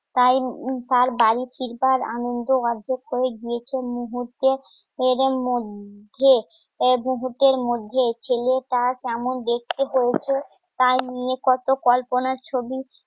টাই তার বাড়ি ফিরবার আনন্দ অর্ধেক করে গিয়েছে মুহূর্তে এরমধ্যে মুহূর্তে র মধ্যেই এক যুবকের মধ্যে ছেলেটা কেমন দেখতে হয়েছে